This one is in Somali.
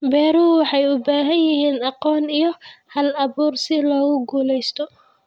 Beeruhu waxay u baahan yihiin aqoon iyo hal-abuur si loo guulaysto.